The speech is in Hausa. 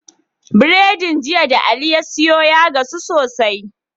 Biredin jiya da ali ya siyo ya gasu sosai